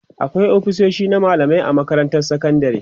akwai ofisoshi na mallamai a makarantar sekandari